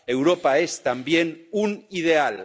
Europa es también un ideal.